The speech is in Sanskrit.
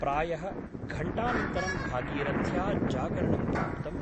प्रायः घण्टानन्तरं भागीरथ्या जागरणं प्राप्तम् ।